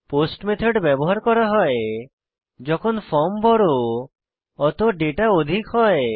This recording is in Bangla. পোস্ট মেথড ব্যবহার করা হয় যখন ফর্ম বড় অত দাতা অধিক হয়